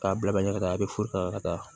K'a bila ɲɛ ka taa a bɛ foro ta ka taa